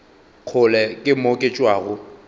kgole ke mo ke tšwago